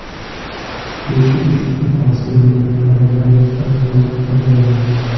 Lekin ushbu hosil ne’matlaridan barchamiz foydalanamiz.